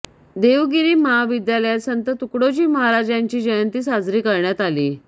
देवगिरी महाविद्यालयात संत तुकडोजी महाराज यांची जयंती साजरी करण्यात आली